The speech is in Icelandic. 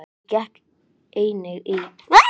Ég gekk einnig í félagasamtök á staðnum.